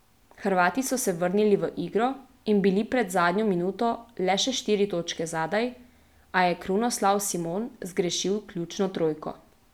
Hrvati so se vrnili v igro in bili pred zadnjo minuto le še štiri točke zadaj, a je Krunoslav Simon zgrešil ključno trojko.